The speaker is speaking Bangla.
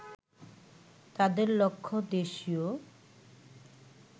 তাদের লক্ষ্য দেশীয়